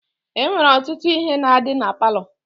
E nwere ọtụtụ ihe na-adị na palọ.